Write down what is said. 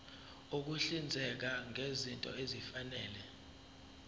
ukuhlinzeka ngezinto ezifanele